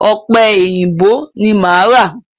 Ọ̀pẹ èyìǹbó ni máa ra.